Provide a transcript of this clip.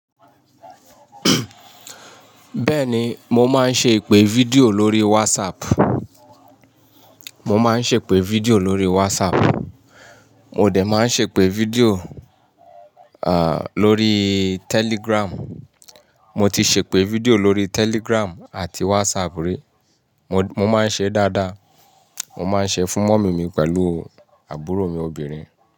Bẹ́ẹ̀ni, mo máa ń ṣe ìpè fídíò lórí WhatsApp. Mo máa ń ṣe ìpè fídíò lórí WhatsApp. Mo dé ma ń ṣe ìpè fídíò, à, lórí Telegram. Mo ti ṣe ìpè fídíò lórí Telegram àti WhatsApp rí. Mo, mo máa ń ṣe dáadáa. Mo máa ń ṣe fún mọ́mì mi pẹ̀lú àbúrò mi obìnrin.